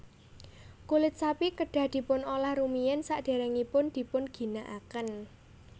Kulit sapi kedah dipun olah rumiyin sadèrèngipun dipun ginakaken